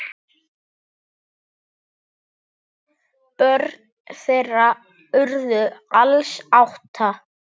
Börn þeirra urðu alls átta.